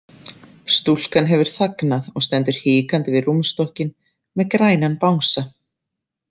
Stúlkan hefur þagnað og stendur hikandi við rúmstokkinn með grænan bangsa.